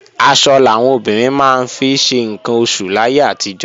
Aṣọ làwọn obìnrin máa ń fi ṣe ǹkan oṣù láyé àtijọ́